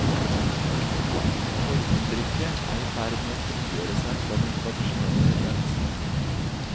Formuttrykket er i ferd med å frigjøre seg fra den tradisjonelle realismen.